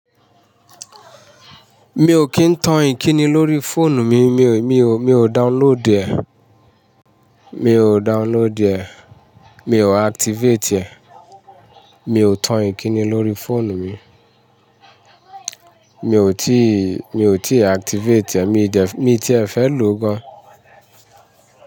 Mi ò kì ń tan Ìkíni lórí fóònù mi, mi ò, mi ò, mi ò download ẹ̀, mi ò download ẹ̀, mi ò activate ẹ̀, mi ò tan Ìkíni lórí fóònù mi. Mi ò tíì, mi ò tíì activate ẹ̀, mi dẹ̀ miò tiẹ̀ jẹ̀ fẹ́ lò ó gan.